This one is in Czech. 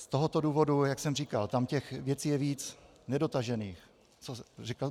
Z tohoto důvodu, jak jsem říkal, tam těch věcí je víc, nedotažených.